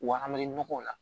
Wa an bɛ nɔgɔw la